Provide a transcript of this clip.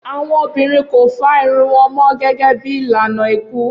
Awọn obinrin ko fá irun wọn mọ gẹgẹ bi ilana iku